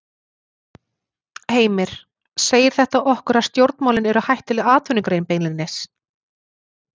Heimir: Segir þetta okkur að stjórnmálin eru hættuleg atvinnugrein beinlínis?